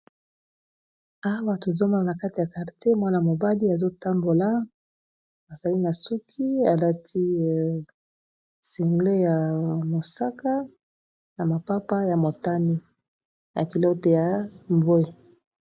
Awa tozalikomona na kati ya quartier Mwana mobali azali na suki alati sengle ya mosaka na mapapa ya motani na culotte ya ba langi ya mbwe.